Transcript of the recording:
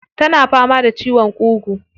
Tana fama da ciwon ƙugu.